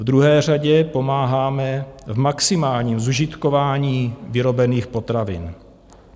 V druhé řadě pomáháme v maximálním zužitkování vyrobených potravin.